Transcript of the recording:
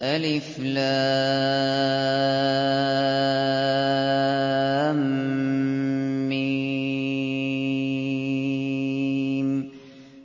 الم